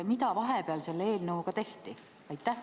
Mida vahepeal selle eelnõuga tehti?